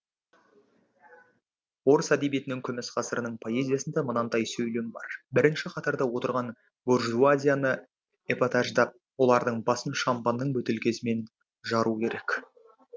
орыс әдебиетінің күміс ғасырының поэзиясында мынандай сөйлем бар бірінші қатарда отырған буржуазияны эпатаждап олардың басын шампанның бөтелкесімен жару керек